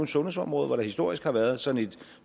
sundhedsområdet hvor der historisk har været sådan et